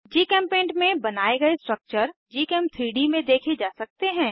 जीचेम्पेंट में बनाये गए स्ट्रक्चर gchem3डी में देखे जा सकते हैं